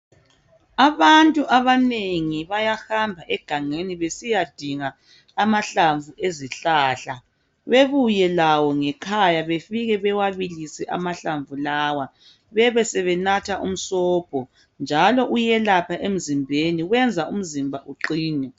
Abantu abanengi bayahamba egangeni besiyadinga amahlamvu ezihlahla bebuye lawo ngekhaya besebewabilisa amahlamvu lawa besebenatha umsobho njalo uyalapha emzimbeni uyenza umzimba uqine.